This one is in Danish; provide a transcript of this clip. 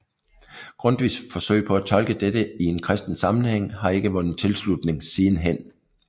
Grundtvigs forsøg på at tolke dette i en kristen sammenhæng har ikke vundet tilslutning sidenhen